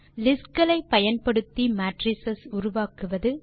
list களை பயன்படுத்தி matrix உருவாக்குவது